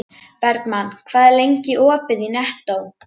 Bergmann, hvað er lengi opið í Nettó?